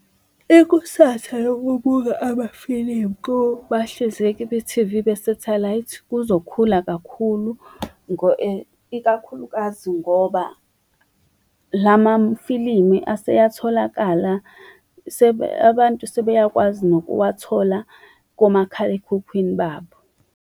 Ikusasa lokubuka amafilimu kubahlinzeki be-T_V be-satellite kuzokhula kakhulu, ikakhulukazi ngoba lamafilimu aseyatholakala. Abantu sebeyakwazi nokuwathola komakhalekhukhwini babo.